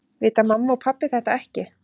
Vita mamma og pabbi þetta ekki?